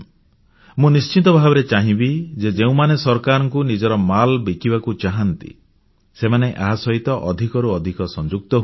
ମୁଁ ନିଶ୍ଚିତ ଭାବରେ ଚାହିଁବି ଯେ ଯେଉଁମାନେ ସରକାରଙ୍କୁ ନିଜର ମାଲ୍ ବିକିବାକୁ ଚାହାଁନ୍ତି ସେମାନେ ଏହା ସହିତ ଅଧିକରୁ ଅଧିକ ସଂଯୁକ୍ତ ହୁଅନ୍ତୁ